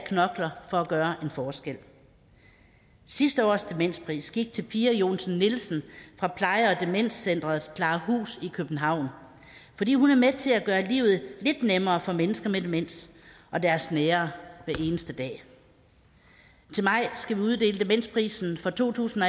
knokler for at gøre en forskel sidste års demenspris gik til pia johnsen nielsen fra pleje og demenscenter klarahus i københavn fordi hun er med til at gøre livet lidt nemmere for mennesker med demens og deres nære hver eneste dag til maj skal vi uddele demensprisen for to tusind